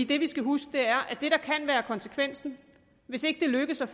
det vi skal huske er at det der kan være konsekvensen hvis ikke det lykkes at